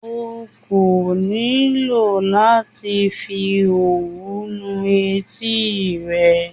Okò nílò láti fi òwú nu etí rẹ.